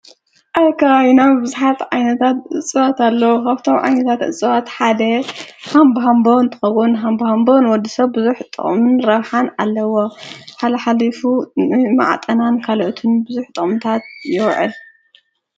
ኣብ ከባቢና ብዙሓት ዓይነታት እፅዋት ኣለዉ። ካብቶም ዓይነታት እፅዋት ሓደ ሃምቦሃምቦ እንትከዉን ሃምቦሃምቦ ንወዲ ሰብ ብዙሕ ጥቅምን ረብሓን ኣለዎ። ሓልሓሊፉ መዓጠናን ካልኦትን ብዙሕ ጥቅምታት ይዉዕል።